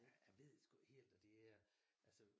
Jeg ved sgu ikke helt og det er altså